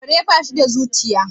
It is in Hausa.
kare ba sh da zuciya